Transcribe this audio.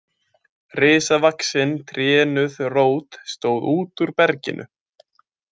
Risavaxin trénuð rót stóð út úr berginu.